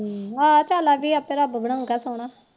ਹੁ ਆਹੋ ਚੱਲ ਰੱਬ ਆਪੇ ਬਣਾਉਗਾ ਸੋਹਣਾ